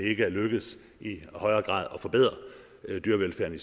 ikke er lykkedes i højere grad at forbedre dyrevelfærden i